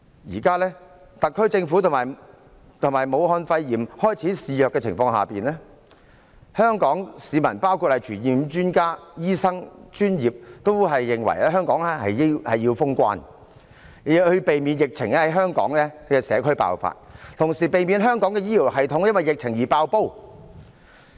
現時，在武漢肺炎開始肆虐的情況下，香港市民包括傳染病專家、醫生和專業人員均認為香港應封關，避免疫情在社區爆發，同時避免香港的醫療系統因疫情而"爆煲"。